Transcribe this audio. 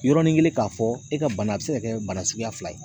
Yɔrɔnin kelen k'a fɔ e ka bana a bɛ se ka kɛ bana suguya fila ye.